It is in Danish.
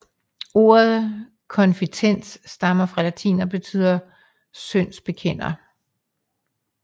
Ordet Confitent stammer fra latin og betyder syndsbekender